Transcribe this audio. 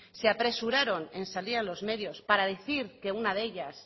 se apresuraron en salir a los medios para decir que una de ellas